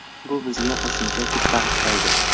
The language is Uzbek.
Bu bizga qo‘shimcha kuch bag‘ishlaydi.